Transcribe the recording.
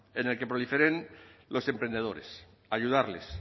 en el que proliferen los emprendedores ayudarles